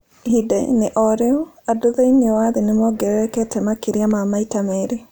Ihinda-inĩ o rĩu, andũ thĩinĩ wa thĩ nĩ mongererekete makĩria ma maita merĩ.